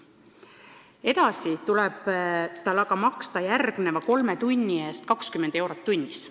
Edasi tuleb aga maksta järgmise kolme tunni eest 20 eurot tunnis.